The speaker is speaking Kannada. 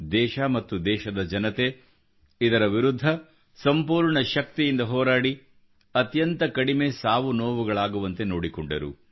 ದೇಶ ಮತ್ತು ದೇಶದ ಜನತೆ ಇದರ ವಿರುದ್ಧ ಸಂಪೂರ್ಣ ಶಕ್ತಿಯಿಂದ ಹೋರಾಡಿ ಅತ್ಯಂತ ಕಡಿಮೆ ಸಾವು ನೋವುಗಳಾಗುವಂತೆ ನೋಡಿಕೊಂಡರು